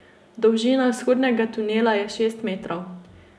Dolžina vhodnega tunela je šest metrov.